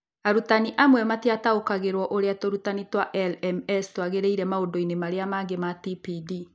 Arutani amwe matiataũkagĩrũo nĩ ũrĩa tũrutani twa LMS twaingĩrire maũndũ-inĩ marĩa mangĩ ma TPD.